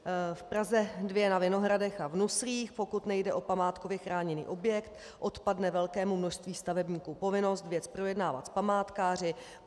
V Praze 2 na Vinohradech a v Nuslích, pokud nejde o památkově chráněný objekt, odpadne velkému množství stavebníků povinnost věc projednávat s památkáři.